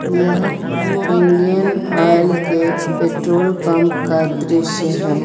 यह Indian Oil के petrol pump का दृश्य है।